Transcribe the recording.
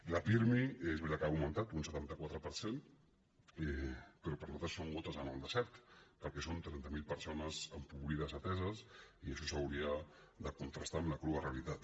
la pirmi és veritat que ha augmentat un setanta quatre per cent però per nosaltres són gotes en el desert perquè són trenta mil persones empobrides ateses i això s’hauria de contrastar amb la crua realitat